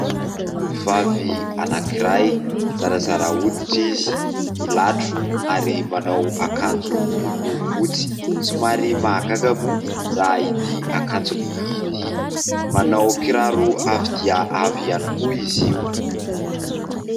Tovovavy anankiray, zarazara hoditra izy, milatro ary manao akanjo miloko fotsy ; somary mahagaga moa raha ity akanjony ity ; manao kiraro avo dia avo ihany koa izy io.